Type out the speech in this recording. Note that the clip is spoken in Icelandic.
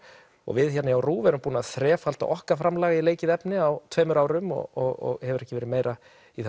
við hérna hjá RÚV erum búin að þrefalda okkar framlag í leikið efni á tveimur árum og hefur ekki verið meira